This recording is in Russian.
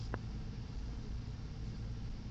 хобби фишинг тв